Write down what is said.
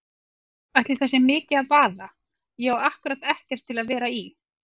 Ætli það sé mikið að vaða, ég á ákkúrat ekkert til að vera í.